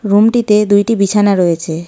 রুমটিতে দুইটি বিছানা রয়েছে।